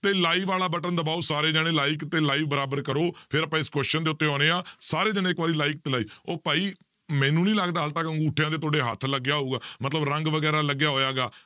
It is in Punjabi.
ਤੇ live ਵਾਲਾ button ਦਬਾਓ ਸਾਰੇ ਜਾਣੇ like ਤੇ live ਬਰਾਬਰ ਕਰੋ ਫਿਰ ਆਪਾਂ ਇਸ question ਦੇ ਉੱਤੇ ਆਉਂਦੇ ਹਾਂ ਸਾਰੇ ਜਾਣੇ ਇੱਕ ਵਾਰੀ like ਤੇ live ਉਹ ਭਾਈ ਮੈਨੂੰ ਨੀ ਲੱਗਦਾ ਹਾਲੇ ਤੱਕ ਅਗੂੰਠਿਆ ਤੇ ਤੁਹਾਡੇ ਹੱਥ ਲੱਗਿਆ ਹੋਊਗਾ ਮਤਲਬ ਰੰਗ ਵਗ਼ੈਰਾ ਲੱਗਿਆ ਹੋਏਗਾ